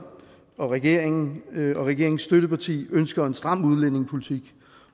og regeringen og regeringens støtteparti ønsker en stram udlændingepolitik